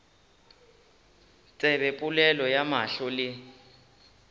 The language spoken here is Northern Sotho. tsebe polelo ya mahlo le